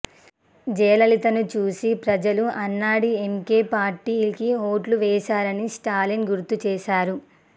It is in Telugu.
జయలలితను చూసి ప్రజలు అన్నాడీఎంకే పార్టీకి ఓట్లు వేశారని స్టాలిన్ గుర్తు చేశారు